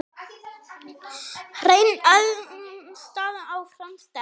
Hrein erlend staða áfram sterk.